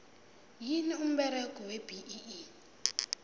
yini umberego webee